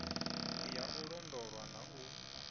ya u londolwa na u